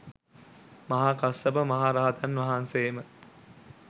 මහා කස්සප මහ රහතන් වහන්සේම